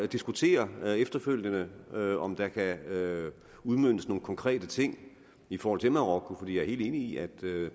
diskutere efterfølgende om der kan udmøntes nogle konkrete ting i forhold til marokko for jeg er helt enig i at